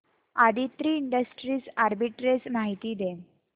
Aditri industries arbitrage माहिती दे